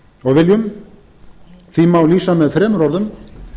og viljum því má lýsa með þremur orðum